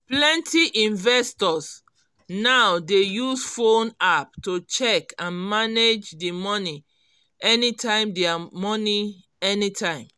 plenty investors now dey use phone app to check and manage d money anytime dia money anytime